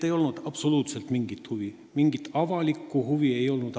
Nii et absoluutselt mingit avalikku huvi ei olnud.